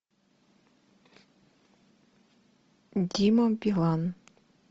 дима билан